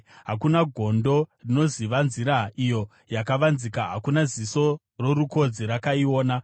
Hakuna gondo rinoziva nzira iyo yakavanzika, hakuna ziso rorukodzi rakaiona.